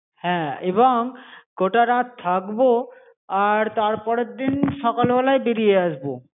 হ্যা এবং গোটা রাত থাকবো আর তার পরের দিন সকালবেলায় বেড়িয়ে আসবো